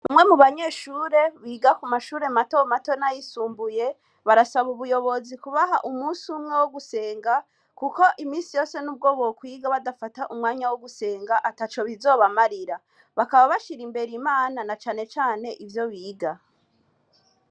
Umwe mu banyeshure biga mumashure mato mato n'ayisumbuye, barasaba ubuyobozi kubaha umunsi umwe wo gusenga, kuko iminsi yose nubwo bokwiga, badafata umunsi wo gusenga, ataco bizobamarira. Bakaba bashira imbere Imana, na cane cane ivyo biga.